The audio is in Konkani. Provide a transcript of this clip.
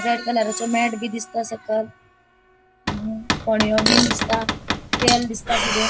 रेड कलरा चो मॅटबी दिसता सकल फणीयो बीन दिसता तेल दिसता किते --